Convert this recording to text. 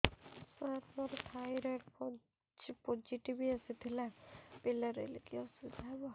ସାର ମୋର thyroid positive ଆସିଥିଲା ପିଲା ରହିଲେ କି ଅସୁବିଧା ହେବ